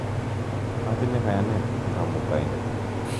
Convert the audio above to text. Atinye kayanet eng' Kamuktaindet.